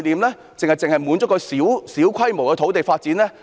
還是只滿足於小規模的土地發展？